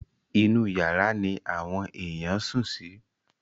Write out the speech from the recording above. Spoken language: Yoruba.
Inú yàrá ni àwọn èèyàn sùn sí.